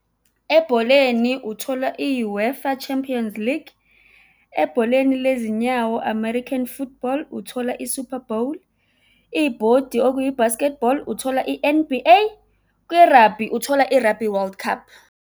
Ebholeni, uthola i-U_E_F_A Champions League. Ebholeni lezinyawo, American Football, uthola i-Super Bowl. Ibhodi okuyi basketball-i, uthola i-N_B_A. Kwi-rugby, uthola i-Rugby World Cup.